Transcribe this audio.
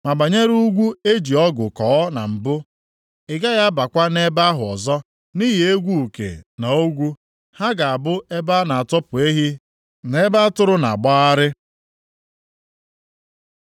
Ma banyere ugwu eji ọgụ kọọ na mbụ, ị gaghị abakwa nʼebe ahụ ọzọ nʼihi egwu uke na ogwu; ha ga-abụ ebe a na-atọpụ ehi na ebe atụrụ na-agbagharị.